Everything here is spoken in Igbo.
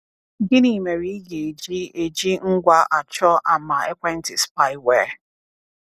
Gịnị mere ị ga-eji eji ngwa achọ ama ekwentị spyware?